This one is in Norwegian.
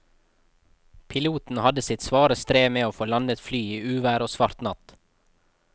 Piloten hadde sitt svare strev med å få landet flyet i uvær og svart natt.